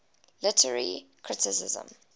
literary criticism